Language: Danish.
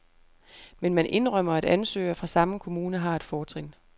Men man indrømmer, at ansøgere fra samme kommune har et fortrin.